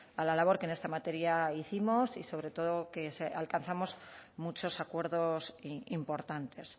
a la labor que en esta materia hicimos y sobre todo que alcanzamos muchos acuerdos importantes